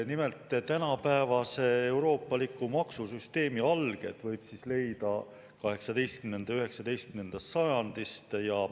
Nimelt, tänapäevase euroopaliku maksusüsteemi alged võib leida 18. ja 19. sajandist.